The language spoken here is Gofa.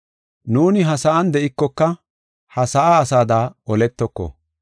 Nuuni ha sa7an de7ikoka ha sa7aa asada oletoko.